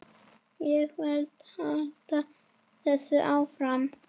Ég vil halda þessu áfram.